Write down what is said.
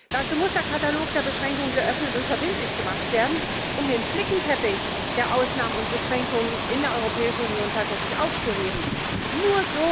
Dazu muss der Katalog der Beschränkungen geöffnet und verbindlich gemacht werden, um den Flickenteppich der Ausnahmen und Beschränkungen in der Europäischen Union tatsächlich zu beseitigen.